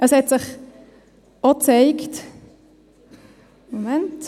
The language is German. Es hat sich auch gezeigt ...